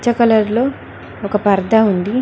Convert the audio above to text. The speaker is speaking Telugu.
కలర్ లో ఒక పర్థ ఉంది.